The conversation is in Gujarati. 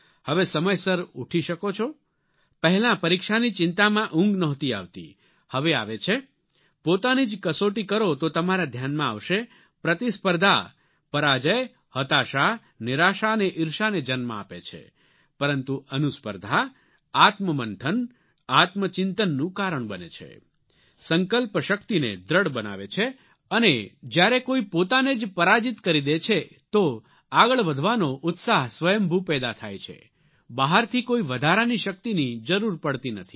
હવે સમયસર ઉઠી શકો છો પહેલાં પરીક્ષાની ચિંતામાં ઊંઘ નહોતી આવતી હવે આવે છે પોતાની જ કસોટી કરો તો તમારા ધ્યાનમાં આવશે પ્રતિસ્પર્ધા પરાજય હતાશા નિરાશા અને ઇર્ષાને જન્મ આપે છે પરંતુ અનુસ્પર્ધા આત્મમંથન આત્મચિંતનનું કારણ બને છે સંકલ્પ શક્તિને દૃઢ બનાવે છે અને જ્યારે કોઇ પોતાને જ પરાજિત કરી દે છે તો આગળ વધવાનો ઉત્સાહ સ્વયંભૂ પેદા થાય છે બહારથી કોઇ વધારાની શક્તિની જરૂર પડતી નથી